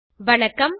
அனைவருக்கும் வணக்கம்